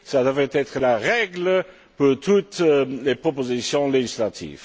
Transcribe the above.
Ce devrait être la règle pour toutes les propositions législatives.